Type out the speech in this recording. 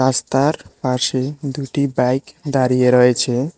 রাস্তার পাশে দুটি বাইক দাঁড়িয়ে রয়েছে।